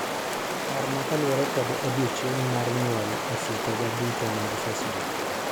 Parna kaluwore kod odiechieng' mar nyuol osiepega duto mag facebook.